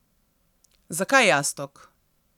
Zakaj jastog?